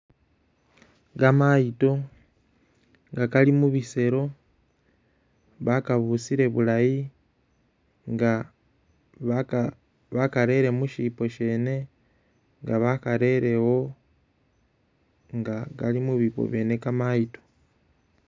kamayito nga kali mubiselo bakabusile bulayi inga bakarele mushipo shene nga bakarele ewo nga kali mubipo byene kamayito.